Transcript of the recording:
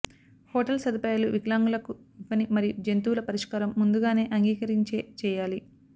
hotel సదుపాయాలు వికలాంగులకు ఇవ్వని మరియు జంతువుల పరిష్కారం ముందుగానే అంగీకరించే చేయాలి